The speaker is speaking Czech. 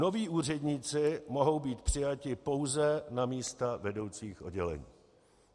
Noví úředníci mohou být přijati pouze na místa vedoucích oddělení.